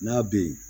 N'a bɛ yen